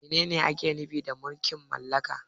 Menene ake nufi da mulkin mallaka?